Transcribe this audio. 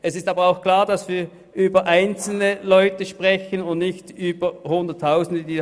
Klar ist aber auch, dass wir über einzelne betroffene Leute sprechen und nicht über Hunderttausende.